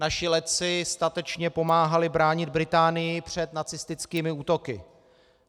Naši letci statečně pomáhali bránit Británii před nacistickými útoky.